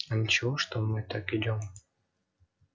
а ничего что мы так идём